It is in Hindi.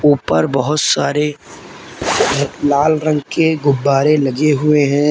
ऊपर बहुत सारे लाल रंग के गुब्बारे लगे हुए हैं।